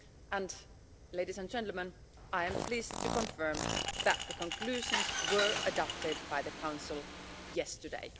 And ladies and gentlemen, I am pleased to confirm that the conclusions were adopted by the Council yesterday.